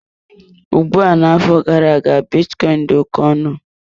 Ugbua n'afọ gara-aga bitcoin dị oke ọnụ.